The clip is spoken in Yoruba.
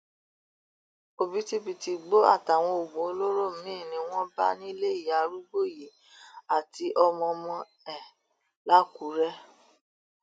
òbítíbitì igbó àtàwọn oògùn olóró míín ni wọn bá nílé ìyá arúgbó yìí àti ọmọọmọ ẹ làkúrẹ